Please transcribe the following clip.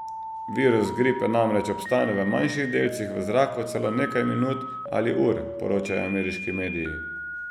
Virus gripe namreč obstane v manjših delcih v zraku celo nekaj minut ali ur, poročajo ameriški mediji.